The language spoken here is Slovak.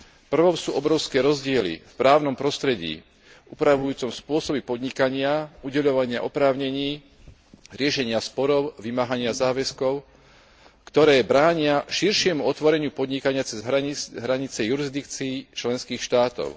Prvou sú obrovské rozdiely v právnom prostredí upravujúcom spôsoby podnikania, udeľovania oprávnení, riešenia sporov či vymáhania záväzkov, ktoré bránia širšiemu otvoreniu podnikania cez hranice jurisdikcií členských štátov.